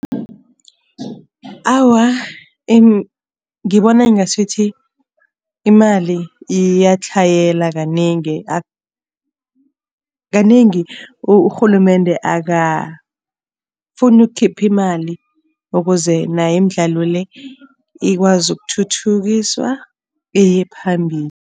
Awa, ngibona ngasuthi imali iyatlhayela kanengi. Kanengi uRhulumende akafuni ukukhipha imali ukuze nayo imidlalo le, ikwazi ukuthuthukiswa iye phambili.